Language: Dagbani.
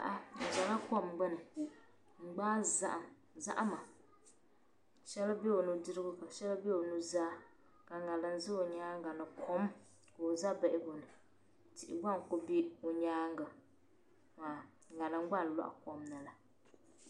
Aa bizala kom gbuni. n gbaa zahim. zahima shɛli bɛ onudirigu kasheli bɛ onuzaa ka ŋariŋ za o nyaaŋa ni kom ka oza bihiguni tihi gba nkubɛ. onyaaŋ maa ŋariŋ gba n lɔhikomni la